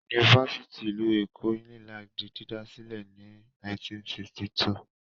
Yunifásítì ìlú Èkó (Unilag) di dídá sílẹ̀ ní 1962.